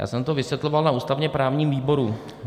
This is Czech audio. Já jsem to vysvětloval na ústavně-právním výboru.